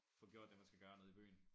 Få gjort det man skal gøre nede i byen